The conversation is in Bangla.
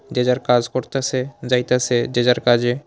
যে যার কাস করতাসে যাইতাসে যে যার কাজে।